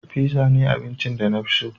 Fizza ne abincin da na fi so.